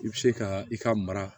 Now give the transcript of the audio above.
I bɛ se ka i ka mara